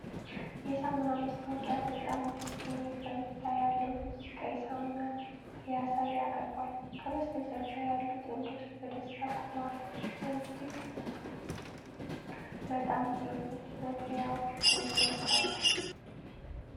የሳሙና ማስታወቂያ በጣም ደስ የሚል ፈገግታ ያለው ልጅ ቀይ ሳሙና ሊያሳይ አቅርቧል። ከበስተጀርባ ያሉ ጥንዶች በደስታ ቆመዋል። እጅግ በጣም ጥሩ መለያውም ጎልቶ ቀርቧል።